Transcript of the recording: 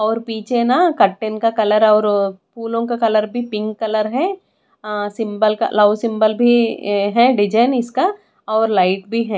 और पीछे न कर्टेन का कलर और फूलों का कलर भी पिंक कलर है आ सिम्बल का लाव सिम्बल भी ए है डिजाइन इसका और लाइट भी है।